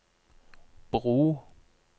bro